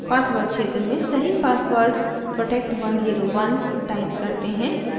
password क्षेत्र में सही password protect101 type करते हैं